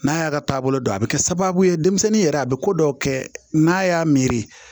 N'a y'a ka taabolo dɔn a bɛ kɛ sababu ye denmisɛnnin yɛrɛ a bɛ ko dɔw kɛ n'a y'a miiri